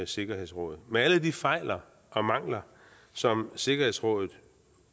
sikkerhedsråd med alle de fejl og mangler som sikkerhedsrådet